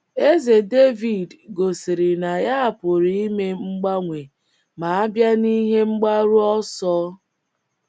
Eze Devid gosiri na ya pụrụ ime mgbanwe ma a bịa n’ihe mgbaru ọsọ